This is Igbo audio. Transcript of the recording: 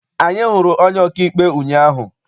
Anyị hụrụ onye ọkaikpe ụnyaahụ.